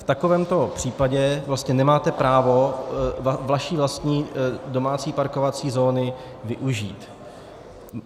V takovémto případě vlastně nemáte právo vaší vlastní domácí parkovací zóny využít.